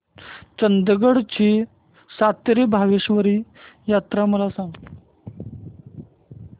चंदगड ची सातेरी भावेश्वरी यात्रा मला सांग